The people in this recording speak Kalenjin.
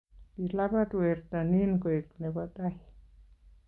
Kilabat werto nin koek nebo tai